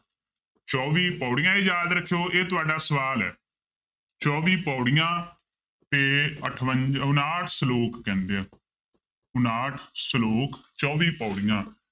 ਚੌਵੀ ਪਾਉੜੀਆਂ ਇਹ ਯਾਦ ਰੱਖਿਓ ਇਹ ਤੁਹਾਡਾ ਸਵਾਲ ਹੈ ਚੌਵੀ ਪਾਉੜੀਆਂ ਤੇ ਅਠਵੰ~ ਉਣਾਹਠ ਸਲੋਕ ਕਹਿੰਦੇ ਆ, ਉਣਾਹਠ ਸਲੋਕ ਚੌਵੀ ਪਾਉੜੀਆਂ